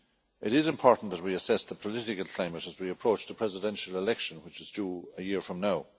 It is important that we assess the political climate as we approach the presidential election, which is due a year from now.